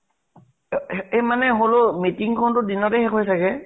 অ এ মানে হলেও meeting খন টো দিনতে শেষ হয় চাগে?